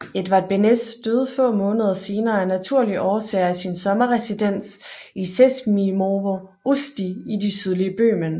Edvard Beneš døde få måneder senere af naturlige årsager i sin sommerresidens i Sezimovo Usti i det sydlige Bøhmen